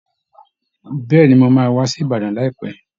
Bẹ́ẹ̀ ni, mo máa wá sí Ìbàdàn láìpẹ́